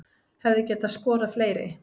Hefði getað skorað fleiri